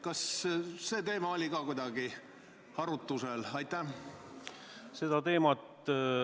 Kas see teema oli ka arutusel?